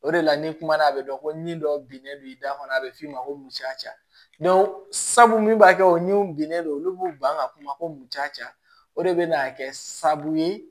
O de la ni kumana a be dɔn ko nin dɔ binnen don i da kɔnɔ a be f'i ma ko musaka ca sabu min b'a kɛ o ni binnen don olu b'u ban ka kuma ko mun ca o de be n'a kɛ sababu ye